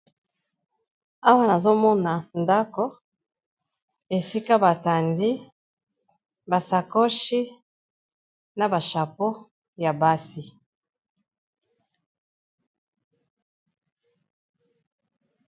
awa nazomona ndako esika batandi basakoshi na bashapo ya basi